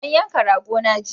An yanka rago na jiya